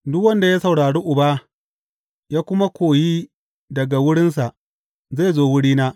Duk wanda ya saurari Uba, ya kuma koyi daga wurinsa, zai zo wurina.